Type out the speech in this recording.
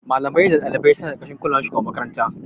Malamai da ɗalibai suna ƙarƙashin kulawar shugaban makaranta.